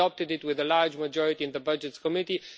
We adopted it with a large majority in the Budgets Committee.